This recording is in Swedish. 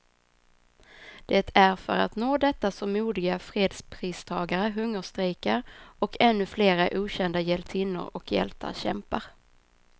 Det är för att nå detta som modiga fredspristagare hungerstrejkar, och ännu flera okända hjältinnor och hjältar kämpar.